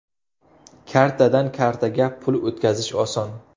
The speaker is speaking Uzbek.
Kartadan kartaga pul o‘tkazish oson!